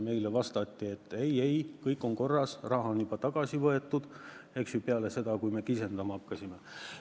Meile vastati, et kõik on korras, raha on juba tagasi võetud – see oli peale seda, kui me kisendama hakkasime.